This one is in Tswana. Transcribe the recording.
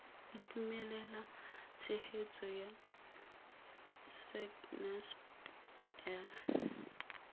itumelela tshegetso ya sacnasp le